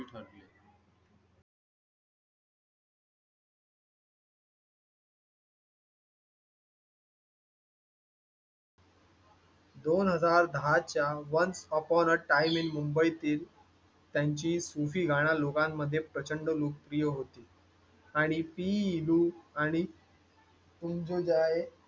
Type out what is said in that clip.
दोन हजार दहा च्या once upon a time मुंबईतील त्यांची प्रचंड लोकप्रिय होती आणि टी